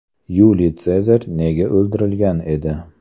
Yuliy Sezar nega o‘ldirilgan edi?.